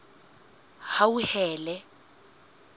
hauhelele